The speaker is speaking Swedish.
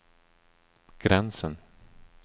gränsen